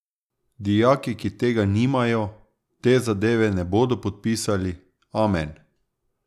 Dijaki, ki tega nimajo, te zadeve ne bodo podpisali, amen.